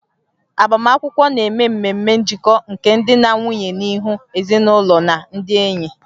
Agbamakwụkwọ na-eme ememe njikọ nke di na nwunye n'ihu ezinụlọ na ndị enyi